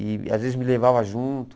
E às vezes me levava junto.